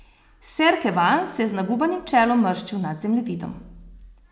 Ser Kevan se je z nagubanim čelom mrščil nad zemljevidom.